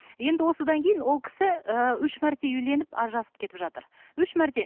енді осыдан кейін ол кісі ііі үш мәрте үйленіп ажырасып кетіп жатыр үш мәрте